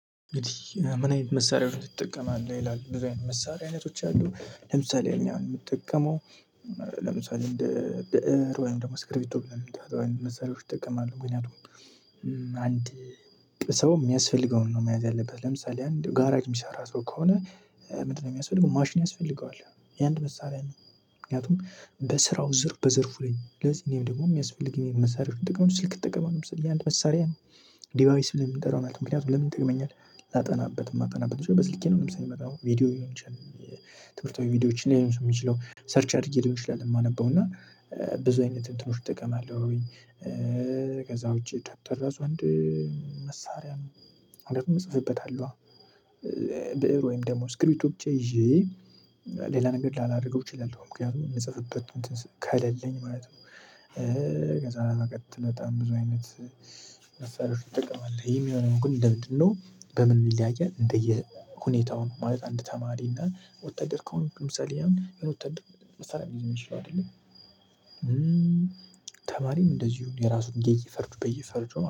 እንግዲህ እ ምን አይነት መሳሪያዎች ትጠቀማለህ ይላል ብዙ አይነት መሳሪያ አይነቶች አሉ። ለምሳሌ እኛ የምንጠቀመው እ ለምሳሌ እንደ እ ብእር ወይም ደግሞ እንደ እስክሪቢቶ ብለን የምንጠራውን አይነት መሳሪያዎችን እጠቀማለሁ። ምክንያቱም እ አንድ ሰው የሚያስፈልገውን ነው መያዝ ያለበት ለምሳሌ አንድ ጋራጅ የሚሰራ ሰው ከሆነ እ ምንድነው የሚያስፈልገው ማሽን ያስፈልገዋል? ያ አንድ መሳሪያ ነው። ምክንያቱም በስራው ዘርፉ በዘርፉ ላይ ስለዚህ እኔም ደግሞ የሚያስፈልግ መሳሪያዎችን ጥቅም ስልክ እጠቀማለህ ለምሳሌ ይሄ አንድ መሳሪያ ነው። ዲቫይስ ብለን የምንጠራውን ማለት ነው ምክንያቱም ለምን ይጠቅመኛል? ላጠናበት የማጠናበት በስልኬ ነው ለምሳሌ የማጠናው ቪዲዮ ሊሆን ይችላል። ትምህርት ወይ ቪዲዮዎችን ሊሆን ይችላል የሚችለው ሰርች አድርጌ ሊሆን ይችላል የማነበው እና እ ብዙ አይነት እንትኖች እጠቀማለሁኝ። ከዛ ውጪ ደብተር እራሱ አንድ እ መሳሪያ ነው። ማለትም እጽፍበታለኋ እ ብእር ወይም ደግሞ ስክሪቢቶ ብቻ ይዤ። ሌላ ነገር ላላደርገው እችላለሁ ምክንያቱም የምጽፍበት እንትን ከሌለኝ ማለት ነው። እ ከዛ በመቀጠል በጣም ብዙ አይነት መስሪያዎችን ትጠቀማለህ? ይሄም የሆነ ግን እንደምንድነው በምን ይለያያል እንደየ ሁኔታው ነው። ማለት አንድ ተማሪ እና ወታደር ከሆነ ምሳሌ መስራት የሚችለው አይደለም። ተማሪም እንደዚሁ የራሱን የየፈርጁ በየፈርጁ ማለት ነው